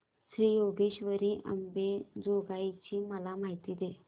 श्री योगेश्वरी अंबेजोगाई ची मला माहिती दे